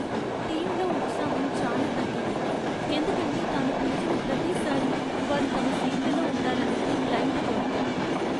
టీంలో ఉత్సాహం చాలా తగ్గింది, ఎందుకంటే తాను పిలిచిన ప్రతిసారీ వారు తమ సీట్లలో ఉండాలనేది క్లయింటు కోరిక.